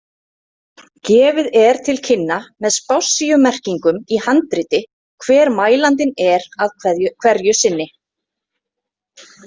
Gefið er til kynna með spássíumerkingum í handriti hver mælandinn er hverju sinni.